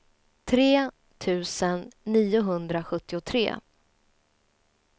tre tusen niohundrasjuttiotre